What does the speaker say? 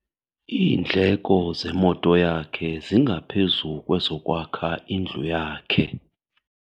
Iindleko zemoto yakhe zingaphezu kwezokwakha indlu yakhe.